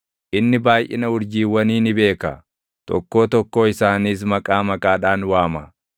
Inni baayʼina urjiiwwanii ni beeka; tokkoo tokkoo isaaniis maqaa maqaadhaan waama.